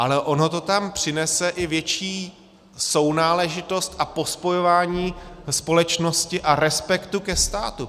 Ale ono to tam přinese i větší sounáležitost a pospojování společnosti a respektu ke státu.